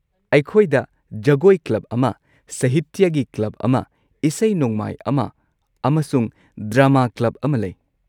ꯑꯩꯈꯣꯏꯗ ꯖꯒꯣꯏ ꯀ꯭ꯂꯕ ꯑꯃ, ꯁꯍꯤꯇ꯭ꯌꯒꯤ ꯀ꯭ꯂꯕ ꯑꯃ, ꯏꯁꯩ-ꯅꯣꯡꯃꯥꯏ ꯑꯃ ꯑꯃꯁꯨꯡ ꯗ꯭ꯔꯥꯃꯥ ꯀ꯭ꯂꯕ ꯑꯃ ꯂꯩ꯫